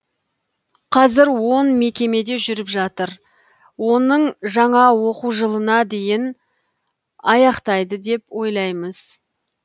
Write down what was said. қазір он мекемеде жүріп жатыр оның жаңа оқу жылына дейін аяқтайды деп ойлаймыз